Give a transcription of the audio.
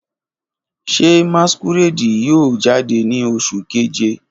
Ṣe masquerade yoo jade ni Oṣu Keje?